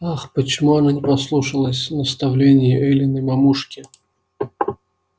ах почему она не послушалась наставлении эллин и мамушки